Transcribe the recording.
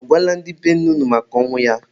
Unu agwala ndị be nne unu maka ọnwụ ya?